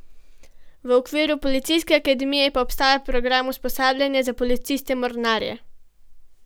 V okviru policijske akademije pa obstaja program usposabljanja za policiste mornarje.